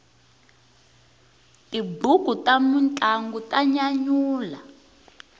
tibuku ta mintlangu ta nyanyula